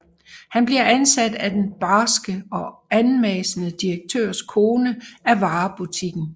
Han bliver ansat af den barske og anmassende direktørs kone af varebutikken